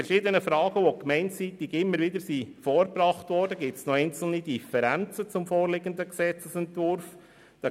In verschiedenen Fragen, die gemeindeseitig immer wieder gestellt wurden, bestehen zum vorliegenden Gesetzesentwurf noch einzelne Differenzen.